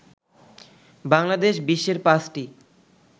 বাংলাদেশ বিশ্বের পাঁচটি